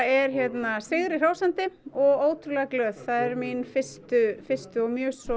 hérna sigri hrósandi og ótrúlega glöð það eru mín fyrstu fyrstu og